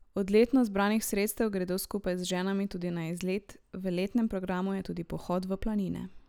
Od letno zbranih sredstev gredo skupaj z ženami tudi na izlet, v letnem programu je tudi pohod v planine.